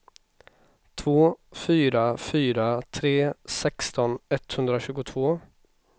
två fyra fyra tre sexton etthundratjugotvå